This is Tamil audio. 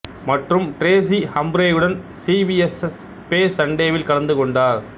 மற்றும் ட்ரேசி ஹம்ப்ரேயுடன் சிபிஎஸ்ஸ் பே சண்டேவில் கலந்து கொண்டார்